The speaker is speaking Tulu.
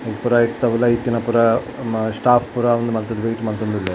ಉಂದ್ ಪೂರ ಐತ ಉಲಾಯಿ ಇತ್ತಿನ ಪೂರ ನಮ್ಮ ಸ್ಟಾಫ್ ಪೂರ ಉಂದು ಮಲ್ತುದು ವೇಟ್ ಮಲ್ತೊಂದುಲ್ಲೆರ್.